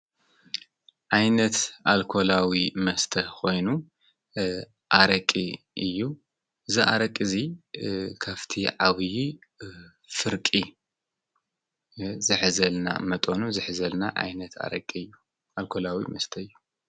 ኣይነት ኣልኮላዊ መስተ ኾይኑ ኣረቂ እዩ ዝኣረቂ እዙይ ከፍቲ ዓዊዪ ፍርቂ ዘኅዘልና መጦኑ ዘኅዘልና ኣይነት ኣረቂ እዩ ኣልኮላዊ መስተ እዩ።